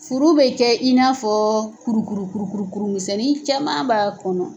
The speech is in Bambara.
Furu bɛ kɛ in n'a fɔ kuru kuru kuru kuru kuru misɛnnin caman b'a kɔnɔ.